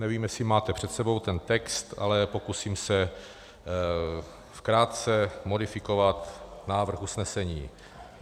Nevím, jestli máte před sebou ten text, ale pokusím se krátce modifikovat návrh usnesení: